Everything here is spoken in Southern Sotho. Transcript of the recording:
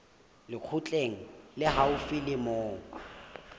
lekgotleng le haufi le moo